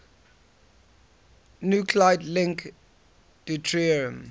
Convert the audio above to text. nuclide link deuterium